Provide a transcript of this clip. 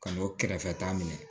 Ka n'o kɛrɛfɛ ta minɛ